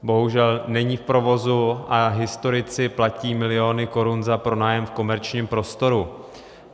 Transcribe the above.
Bohužel není v provozu a historici platí miliony korun za pronájem v komerčním prostoru.